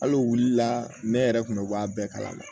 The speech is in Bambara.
Hal'o wulila ne yɛrɛ kun bɛ wari bɛɛ kalama